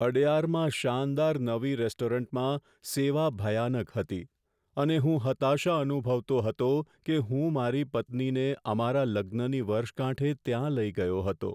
અડયારમાં શાનદાર નવી રેસ્ટોરન્ટમાં સેવા ભયાનક હતી અને હું હતાશા અનુભવતો હતો કે હું મારી પત્નીને અમારા લગ્નની વર્ષગાંઠે ત્યાં લઈ ગયો હતો.